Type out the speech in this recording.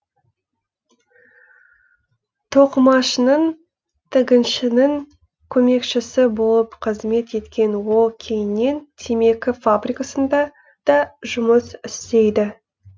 тоқымашының тігіншінің көмекшісі болып қызмет еткен ол кейіннен темекі фабрикасында да жұмыс істейді